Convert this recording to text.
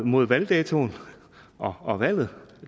mod valgdatoen og valget